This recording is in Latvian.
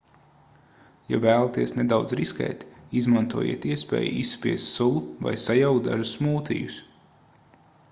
ja vēlaties nedaudz riskēt izmantojiet iespēju izspiest sulu vai sajaukt dažus smūtijus